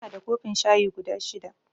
Inada kofin shayi guda shida